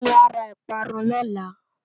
Kemi á rá ipárùn lòlá